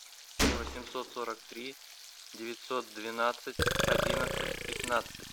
семь восемьсот сорок три девятьсот двенадцать одиннадцать пятнадцать